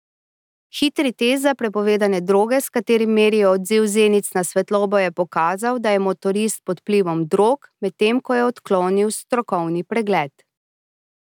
Hitri test za prepovedane droge, s katerim merijo odziv zenic na svetlobo, je pokazal, da je motorist pod vplivom drog, medtem ko je odklonil strokovni pregled.